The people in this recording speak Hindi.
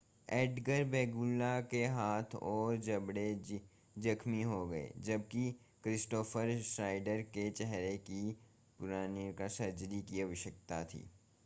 एडगर वेगुइला के हाथ और जबड़े जख्मि हो गये जबकि क्रिस्टोफ़र श्नाइडर को चेहरे की पुनर्निर्माण सर्जरी की आवश्यकता थी